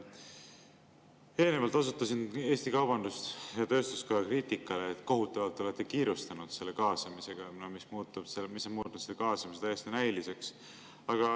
Eelnevalt osutasin Eesti Kaubandus-Tööstuskoja kriitikale, et te olete kohutavalt kiirustanud selle kaasamisega ja see muudab selle kaasamise täiesti näiliseks.